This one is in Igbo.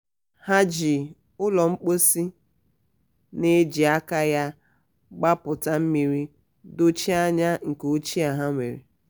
ha ji ụlọ mposi na-eji aka ya gbapụta mmiri dochie anya nke ochie ha nwere.